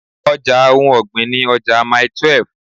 Ọja ohun ọ̀gbìn ni ọjà Mile 12.